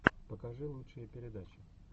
покажи лучшие передачи